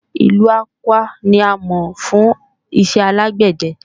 Ìlu Awka ni a mọ̀ fún iṣẹ́ alágbẹ̀dẹ